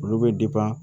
Olu bɛ